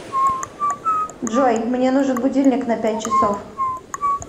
джой мне нужен будильник на пять часов